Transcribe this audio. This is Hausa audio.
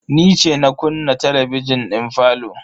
Ni ce na kunna talabijin din falo.